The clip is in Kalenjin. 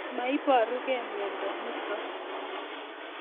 Maiparukei miondo nitok